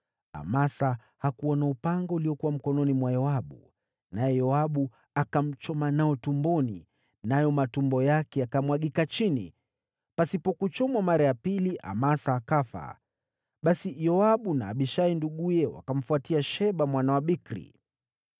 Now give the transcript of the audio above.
Amasa hakuona upanga uliokuwa mkononi mwa Yoabu, naye Yoabu akamchoma nao tumboni, nayo matumbo yake yakamwagika chini. Pasipo kuchomwa mara ya pili, Amasa akafa. Basi Yoabu na Abishai nduguye wakamfuatia Sheba mwana wa Bikri.